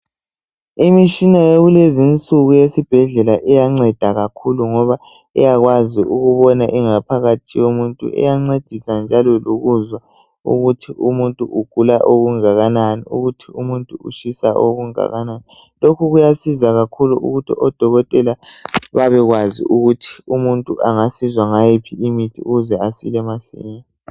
Imishina yakulezinsuku eyesibhedlela ngoba iyakwazi ukubona ingaphakathi yomuntu , iyancedisa njalo lokuzwa ukuthi umuntu ugula okungakanani lokuthi umuntu utshisa okungakanani , lokhu kuyasiza kakhulu ukuthi odokotela babekwazi ukuthi umuntu engasizwa ngayiphi imithi ukuze asile masinya